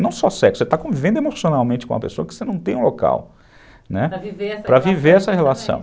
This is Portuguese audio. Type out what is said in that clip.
Não só sexo, você está vivendo emocionalmente com uma pessoa que você não tem um local, né, para viver essa relação.